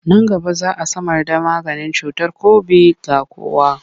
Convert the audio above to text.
Nan gaba za a samarda maganin cutar kobid ga kowa.